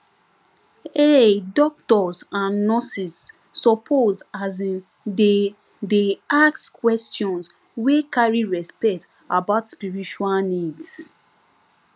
ehh doctors and nurses suppose asin dey dey ask questions wey carry respect about spiritual needs